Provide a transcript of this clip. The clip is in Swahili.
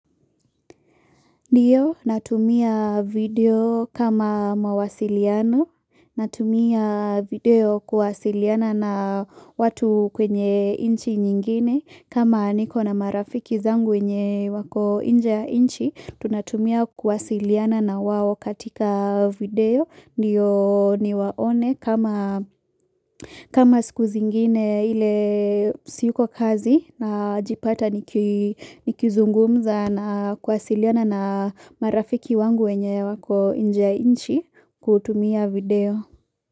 Ndio, natumia video kama mawasiliano, natumia video kuwasiliana na watu kwenye inchi nyingine, kama niko na marafiki zangu wenye wako inje ya inchi, tunatumia kuwasiliana na wawo katika video. Ndiyo niwaone kama siku zingine ile siuko kazi na jipata nikizungumza na kuasiliana na marafiki wangu wenye wako njainchi kutumia video.